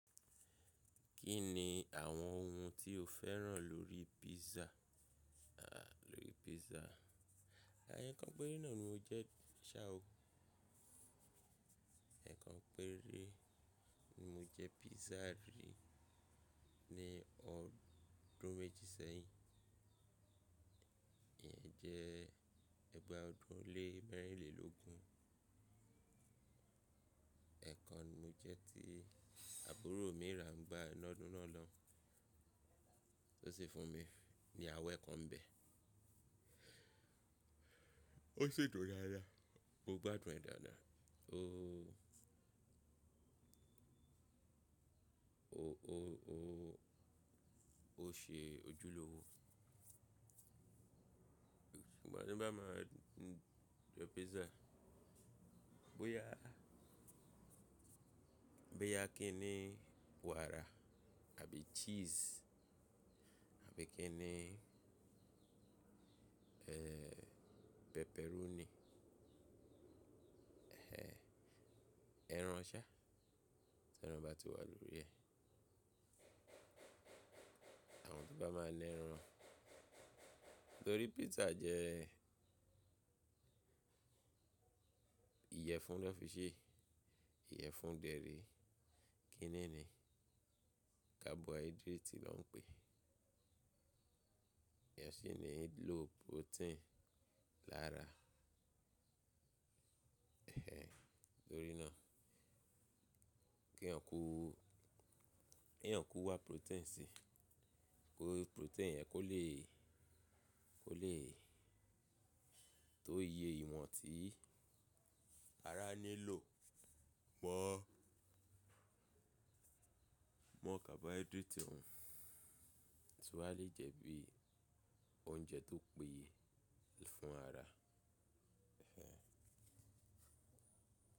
Kí ni àwọn ohun tí o féràn lórí pizza? À, lórí pizza. Ẹ̀ kan péré náà ni mo jẹ́, ṣá o, ẹ̀ kan péré ni mo jẹ́ pizza rí ní ọdún méjì sẹ́yìn. Ìyẹn jẹ́ ẹgbàá ọdún lé mẹ́rìnlélógún. Ẹ̀ kan ni mo jẹ́ tí àbúrò mi ra, ń gba iná ọdún náà lọ́, ó sì fún mi ní àwẹ́ kan bẹ̀. Ó sì dùn dáadáa, mo gbádùn ẹ̀ dáadáa. Ó, ó, ó, ó, ó ṣe ojúlówó. Ìgbà tí n bá máa jẹ́ pizza, bóyá, bóyá kí ni wàrà àbí cheese, àbí kí ni, ẹ́, pepperoni. Ẹ́, ẹran ṣá, tí ẹran bá ti wà lórí ẹ̀. Àwọn tí bá máa na ẹran, torí pizza jẹ́, ìyẹ́fun ni wón fi sè, ìyẹ́fun dẹ̀ rè é, kinní ni, carbohydrate ló ń pè é. Ìyẹ́fun sì ní ló protein lára, ẹ́, torí náà. Kí yàn kú, kí yàn kú wá protein sí i, kí protein yẹn kó lè, kó lè tó iye ìwọ̀n tí ara nílò mọ́, mọ́ carbohydrate òun. Torí ṣe wà le jẹ́ bí i oúnjẹ tó péye fún ara, ẹ́